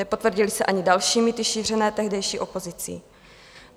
Nepotvrdily se ani další mýty šířené tehdejší opozicí.